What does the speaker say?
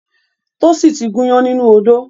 Tósìn ti gúnyán nínú odó